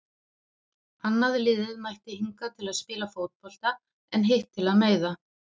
Annað liðið mætti hingað til að spila fótbolta en hitt til að meiða.